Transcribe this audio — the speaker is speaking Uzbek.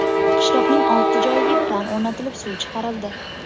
Qishloqning olti joyiga kran o‘rnatilib suv chiqarildi.